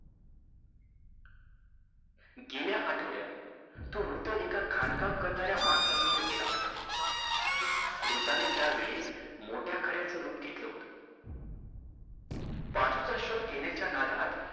गेल्या आठवड्यात तो वृद्ध एका खाणकाम करणाऱ्या माणसासमोर गेला होता. वृद्धाने त्यावेळेस मोठ्या खड्याचं रूप घेतलं होतं. पाचूचा शोध घेण्याच्या नादात